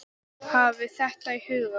Hafið þetta í huga.